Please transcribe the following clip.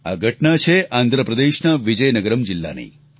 આ ઘટના છે આંધ્રપ્રદેશના વિજયનગરમ જિલ્લાની